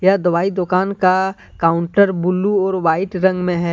यह दवाई दुकान का काउंटर ब्लू और वाइट रंग में है।